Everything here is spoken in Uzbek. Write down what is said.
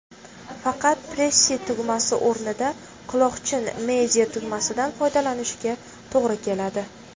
Faqat, Pressy tugmasi o‘rnida quloqchin media–tugmasidan foydalanishga to‘g‘ri keladi.